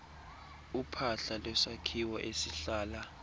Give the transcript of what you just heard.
uphahla lwesakhiwo esihlala